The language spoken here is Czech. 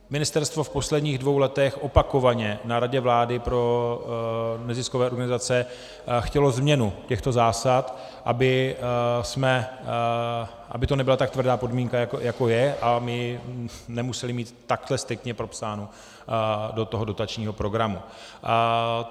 Ministerstvo v posledních dvou letech opakovaně na Radě vlády pro neziskové organizace chtělo změnu těchto zásad, aby to nebyla tak tvrdá podmínka, jako je, a my nemuseli mít takto striktně propsáno do toho dotačního programu.